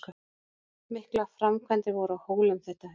Miklar framkvæmdir voru á Hólum þetta haust.